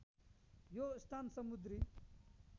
यो स्थान समुद्री